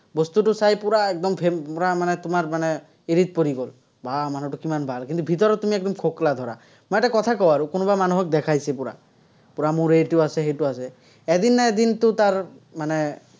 বস্তুটো চাই পুৰা একদম পুৰা মানে তোমাৰ মানে হেৰিত পৰি গ'ল, বাহ, মানুহটো কিমান ভাল, কিন্তু, ভিতৰত তুমি ধৰা। মই এটা কথা কওঁ আৰু, কোনোবা মানুহক দেখাইছে পুৰা, পুৰা মোৰ এইটো আছে, সেইটো আছে, এদিন নহয় এদিনতো তাৰ মানে